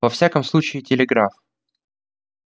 во всяком случае телеграф